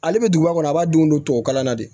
Ale bɛ duguba kɔnɔ a b'a denw don tubabu kalan na de